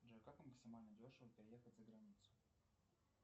джой как максимально дешево переехать за границу